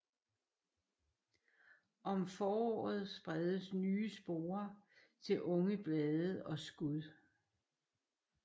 Om foråret spredes nye sporer til unge blade og skud